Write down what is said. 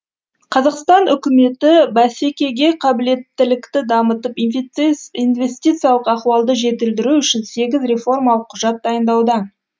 қазақстан үкіметі бәсекеге қабілеттілікті дамытып инвестис инвестициялық ахуалды жетілдіру үшін сегіз реформалық құжат дайындауда